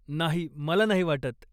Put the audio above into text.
नाही, मला नाही वाटत.